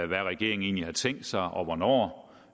hvad regeringen egentlig har tænkt sig og hvornår